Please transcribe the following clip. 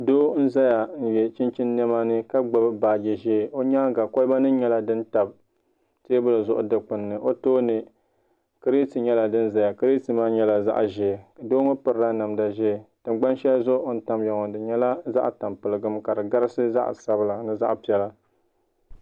Doo n za ya n yiɛ chinchini nɛma ka gbuni baaji zɛɛ o yɛanga koliba nim yɛla dini tabi tɛɛbuli zuɣu du kpuni ni o tooni kriti yɛla din zaya kiriti maa yɛla zaɣi zɛɛ doo ŋɔ pirila namda zɛɛ tingani shɛli zuɣu o ni tamiya maa yɛla zaɣi tampiligim ka di gabibsi zaɣi sabilla mini zaɣi piɛla.